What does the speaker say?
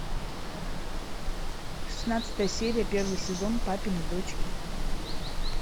шестнадцатая серия первый сезон папины дочки